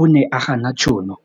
O ne a gana tšhono